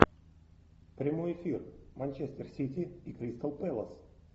прямой эфир манчестер сити и кристал пэлас